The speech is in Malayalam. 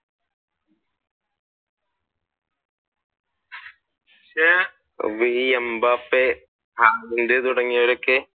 അപ്പൊ ഈ എംബപ്പേ, ഹാലാൻഡ് തുടങ്ങിയവരൊക്കെ?